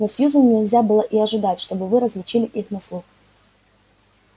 но сьюзен нельзя было и ожидать чтобы вы различили их на слух